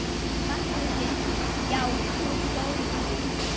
Magnús Hlynur: Já, þú ert góður í því?